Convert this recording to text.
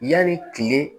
Yani tile